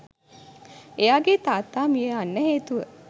එයාගේ තාත්තා මිය යන්න හේතුව